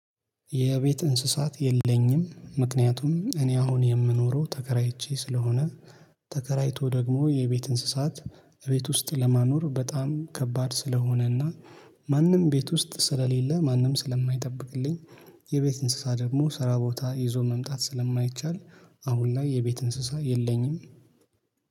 የቤት እንስሳት የለኝም ምክንያቱም እኔ አሁን የምኖረው ተከራይቼ ስለሆነ ተከራይቶ ደግሞ የቤት እንስሳት እቤት ውስጥ ለማኖር በጣም ከባድ ስለሆነና ማንም ቤት ውስጥ ስለሌለ ማንም ስለማይጠብቅልኝ የቤት እንስሳ ደግሞ ስራ ቦታ ይዞ መምጣት ስለማይቻል አሁን ላይ የቤት እንስሳ የለኝም።